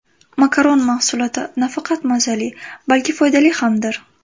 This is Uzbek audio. Makaron mahsuloti nafaqat mazali, balki foydali hamdir.